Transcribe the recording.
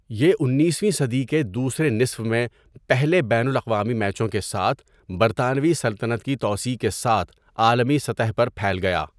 یہ اُنیسویں صدی کے دوسرے نصف میں پہلے بین الاقوامی میچوں کے ساتھ برطانوی سلطنت کی توسیع کے ساتھ عالمی سطح پر پھیل گیا۔